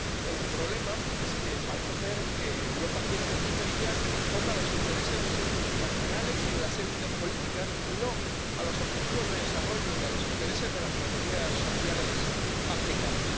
El problema es que parece ser que Europa quiere una estrategia que responda a los intereses de sus multinacionales y de las élites políticas y no a los objetivos de desarrollo y a los intereses de las mayorías sociales africanas.